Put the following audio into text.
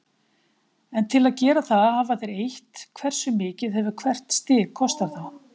En til að gera það hafa þeir eytt, hversu mikið hefur hvert stig kostað þá?